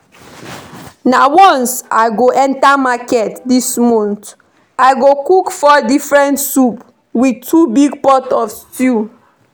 Na once I go enter market dis month. I go cook four different soup with two big pot of stew